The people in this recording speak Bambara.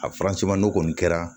A n'o kɔni kɛra